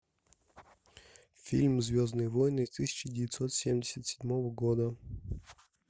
фильм звездные войны тысяча девятьсот семьдесят седьмого года